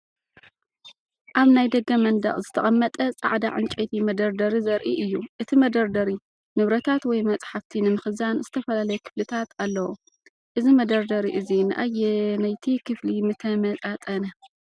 ኣብ ናይ ደገ መንደቕ ዝተቐመጠ ጻዕዳ ዕንጨይቲ መደርደሪ ዘርኢ እዩ። እቲ መደርደሪ ንብረታት ወይ መጽሓፍቲ ንምኽዛን ዝተፈላለየ ክፍልታት ኣለዎ። እዚ መደርደሪ እዚ ንኣየነይቲ ክፍሊ ምተመጣጠነ?